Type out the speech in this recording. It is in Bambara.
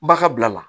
Bagan bilala